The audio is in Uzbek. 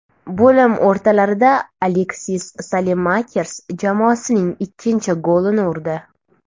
Bo‘lim o‘rtalarida Aleksis Salemakers jamoasining ikkinchi golini urdi.